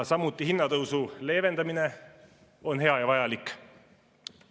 Samuti hinnatõusu leevendamine on hea ja vajalik.